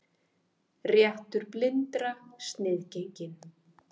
Réttur blindra sniðgenginn